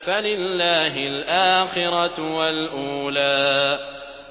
فَلِلَّهِ الْآخِرَةُ وَالْأُولَىٰ